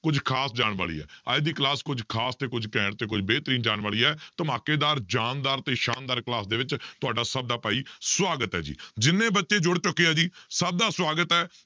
ਕੁੱਝ ਖ਼ਾਸ ਜਾਣ ਵਾਲੀ ਹੈ ਅੱਜ ਦੀ class ਕੁੱਝ ਖ਼ਾਸ ਤੇ ਕੁੱਝ ਘੈਂਟ ਤੇ ਕੁੱਝ ਬਿਹਤਰੀਨ ਜਾਣ ਵਾਲੀ ਹੈ, ਧਮਾਕੇਦਾਰ, ਜ਼ਾਨਦਾਰ ਤੇ ਸ਼ਾਨਦਾਰ class ਦੇ ਵਿੱਚ ਤੁਹਾਡਾ ਸਭ ਦਾ ਭਾਈ ਸਵਾਗਤ ਹੈ ਜੀ ਜਿੰਨੇ ਬੱਚੇ ਜੁੜ ਚੁੱਕੇ ਹੈ ਜੀ ਸਭ ਦਾ ਸਵਾਗਤ ਹੈ,